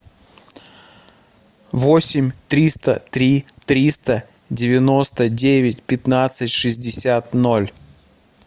восемь триста три триста девяносто девять пятнадцать шестьдесят ноль